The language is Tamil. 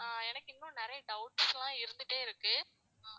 ஆஹ் எனக்கு இன்னும் நிறைய doubts லாம் இருந்துட்டே இருக்கு